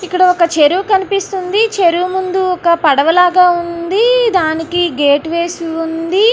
ఇక్కడ ఒక చెరువు లా కనిపిస్తుంది. చెరువు ముందు ఒక పడవ లాగా ఉంది. దానికి గేటు వేసి ఉంది.